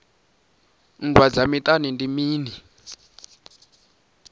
nndwa dza miṱani ndi mini